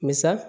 Misa